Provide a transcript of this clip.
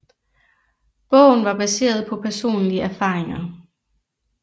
Bogen var baseret på personlige erfaringer